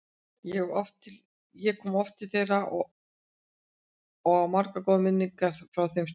Ég kom oft til þeirra og á margar góðar minningar frá þeim stundum.